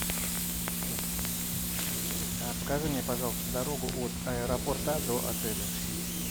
покажи мне пожалуйста дорогу от аэропорта до отеля